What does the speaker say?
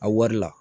A wari la